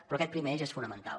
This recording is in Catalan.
però aquest primer eix és fonamental